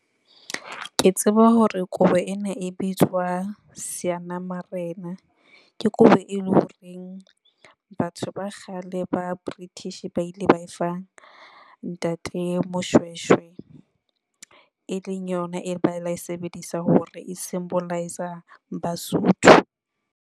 Ke tseba hore kobo ena e bitswa seanamarena. Ke kobo eleng horeng batho ba kgale ba British ba ile ba e fa Ntate Moshweshwe, e leng yona e ba ila e sebedisa hore e symbol-isa basotho.